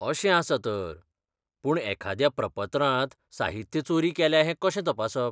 अशें आसा तर! पूण एखाद्या प्रपत्रांत साहित्य चोरी केल्या हें कशें तपासप?